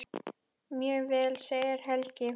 Mjög vel segir Helgi.